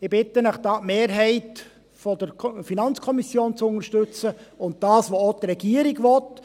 Ich bitte Sie, das zu unterstützten, was die Mehrheit der FiKo und die Regierung wollen.